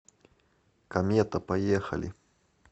комета поехали